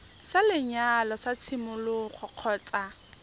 sa lenyalo sa tshimologo kgotsa